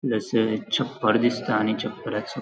प्लस ये छप्पर दिसता आणि छप्पराचो --